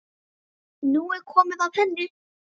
Nú er komið að henni.